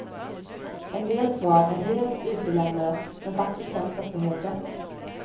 En del svar är helt utelämnade men faktiskt känns detta helt rätt.